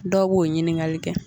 Dɔw b'o ɲiningali kɛ